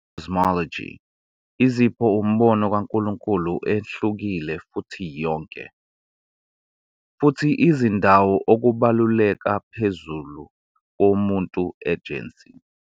KaMomoni Cosmology izipho umbono kaNkulunkulu ehlukile futhi yonke, futhi izindawo ukubaluleka phezulu womuntu ejensi.